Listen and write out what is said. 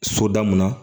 Soda mun na